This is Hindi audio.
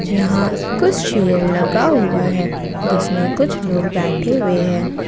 यहां कुछ चेयर लगा हुआ है जिसमें कुछ लोग बैठे हुए हैं।